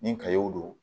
Ni kayo don